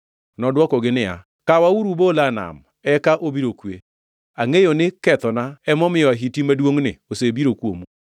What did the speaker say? Nodwokogi niya, “Kawauru ubola e nam, eka obiro kwe. Angʼeyo ni kethona emomiyo ahiti maduongʼni osebiro kuomu.”